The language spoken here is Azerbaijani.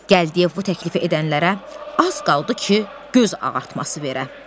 Gəldiyev bu təklifi edənlərə az qaldı ki, göz ağartması verə.